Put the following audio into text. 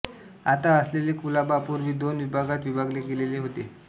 आता असलेले कुलाबा पूर्वी दोन विभागांत विभागलेले होते